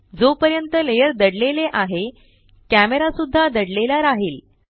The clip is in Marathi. जो पर्यंत लेयर दडलेले आहे कॅमरा सुद्धा दडलेला राहील